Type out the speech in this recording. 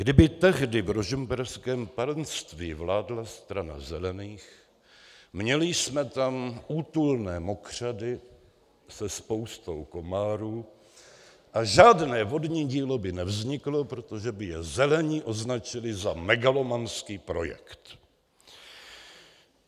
Kdyby tehdy v rožmberském panství vládla Strana zelených, měli jsme tam útulné mokřady se spoustou komárů a žádné vodní dílo by nevzniklo, protože by je zelení označili za megalomanský projekt.